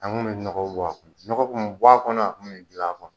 An kun mi nɔgɔ bɔ a kɔnɔ, a kun min gil'a kɔnɔ .